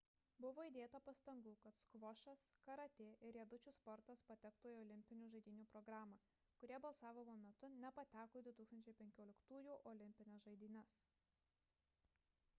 buvo įdėta pastangų kad skvošas karatė ir riedučių sportas patektų į olimpinių žaidynių programą kurie balsavimo metu nepateko į 2015-ųjų olimpines žaidynes